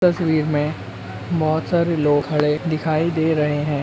तस्वीर में बहोत सारे लोग खड़े दिखाई दे रहें हैं।